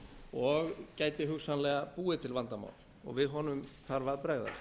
og gæti hugsanlega búið til vandamál við honum þarf að bregðast